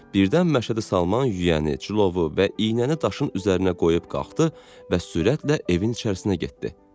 Birdən Məşədi Salman yüyəni, cilovu və iynəni daşın üzərinə qoyub qalxdı və sürətlə evin içərisinə getdi.